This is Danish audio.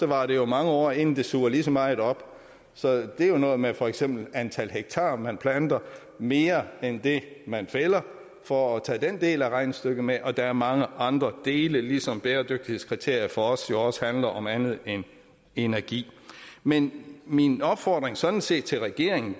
varer jo mange år inden det suger lige så meget op så det er jo noget med for eksempel antal hektar som man planter mere end det man fælder for at tage den del af regnestykket med og der er mange andre dele ligesom bæredygtighedskriterier for os jo også handler om andet end energi men min opfordring er sådan set til regeringen